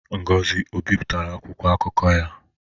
Ngozi ebipụtala akwụkwọ akụkọ ya?